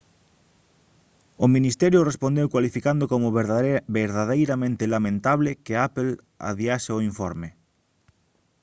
o ministerio respondeu cualificando como verdadeiramente lamentable que apple adiase o informe